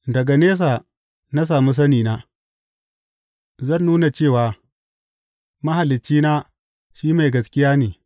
Daga nesa na sami sanina; zan nuna cewa Mahaliccina shi mai gaskiya ne.